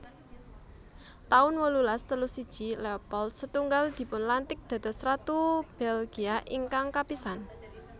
taun wolulas telu siji Leopold setunggal dipunlantik dados ratu Belgia ingkang kapisan